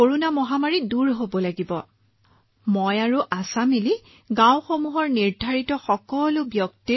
আশা আৰু মই লগ হৈ গাঁওভিত্তিক তথ্য তৈয়াৰ কৰিছিলো এই হিচাপত যিসকল কেন্দ্ৰলৈ আহিছিল তেওঁলোকক কেন্দ্ৰত টীকাকৰণ প্ৰদান কৰিছিলো